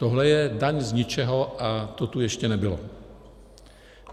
Tohle je daň z ničeho a to tu ještě nebylo.